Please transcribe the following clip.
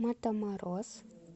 матаморос